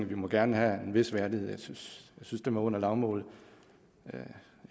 vi må gerne have en vis værdighed jeg synes det var under lavmålet